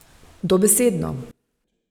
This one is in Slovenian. Dobesedno.